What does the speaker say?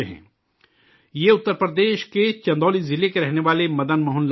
یہ اتر پردیش کے چندولی ضلع کے رہنے والے مدن موہن لال جی ہیں